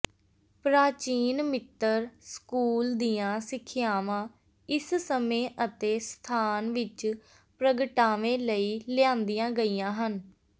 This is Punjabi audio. ਪ੍ਰਾਚੀਨ ਮਿਤੱਰ ਸਕੂਲ ਦੀਆਂ ਸਿੱਖਿਆਵਾਂ ਇਸ ਸਮੇਂ ਅਤੇ ਸਥਾਨ ਵਿਚ ਪ੍ਰਗਟਾਵੇ ਲਈ ਲਿਆਂਦੀਆਂ ਗਈਆਂ ਹਨ